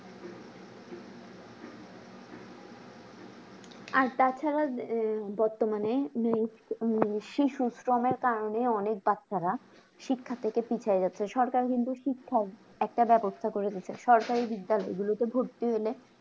আর তা ছাড়া আহ বর্তমানে শ্রী সুশ্রমের কারণে অনেক বাচ্চারা শিক্ষা থেকে পিছাই গেছে সরকার কিন্তু শিক্ষার একটা ব্যাবস্থা দিছে সরকারি বিদ্যালয় গুলোতে ভর্তি হলে